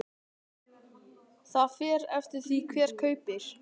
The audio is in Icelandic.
Það fer eftir því hver kaupir.